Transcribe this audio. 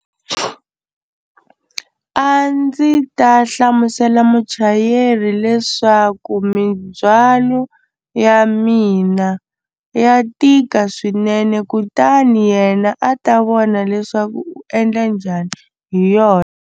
A ndzi ta hlamusela muchayeri leswaku mindzhwalo ya mina ya tika swinene kutani yena a ta vona leswaku u endla njhani hi yona.